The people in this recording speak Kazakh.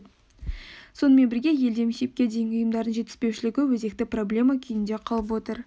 сонымен бірге елде мектепке дейінгі ұйымдардың жетіспеушілігі өзекті проблема күйінде қалып отыр